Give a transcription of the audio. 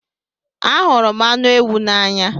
Anhuru m anu ewu n'anya